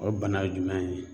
O bana ye jumɛn ye?